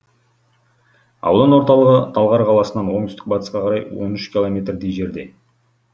аудан орталығы талғар қаласынан оңтүстік батысқа қарай он үш километрдей жерде